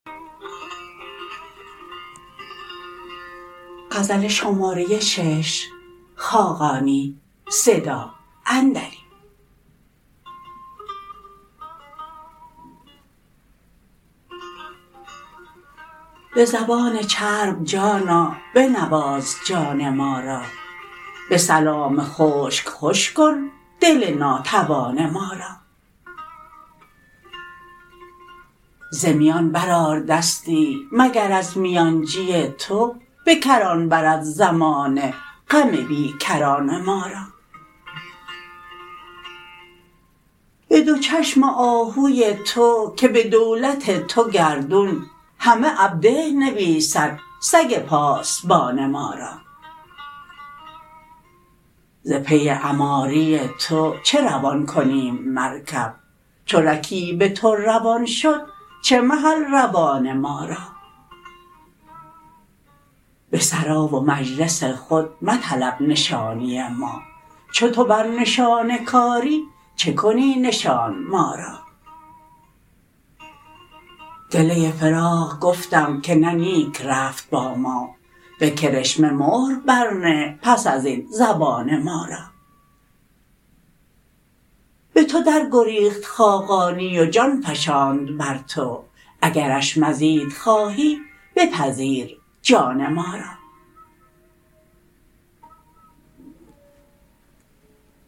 به زبان چرب جانا بنواز جان ما را به سلام خشک خوش کن دل ناتوان ما را ز میان برآر دستی مگر از میانجی تو به کران برد زمانه غم بی کران ما را به دو چشم آهوی تو که به دولت تو گردون همه عبده نویسد سگ پاسبان ما را ز پی عماری تو چه روان کنیم مرکب چو رکیب تو روان شد چه محل روان ما را به سرا و مجلس خود مطلب گرانی ما چو تو بر نشان کاری چه کنی نشان ما را گله فراق گفتم که نه نیک رفت با ما به کرشمه مهر برنه پس از این زبان ما را به تو درگریخت خاقانی و جان فشاند بر تو اگرش مزید خواهی بپذیر جان ما را